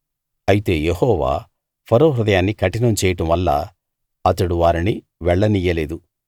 అయితే Jehovah Pharaoh హృదయాన్ని కఠినం చేయడం వల్ల అతడు వారిని వెళ్ళనియ్యలేదు